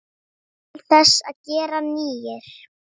Til þess að gera nýir.